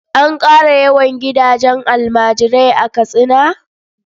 An ƙara yawan gidajen almajirai a Katsina?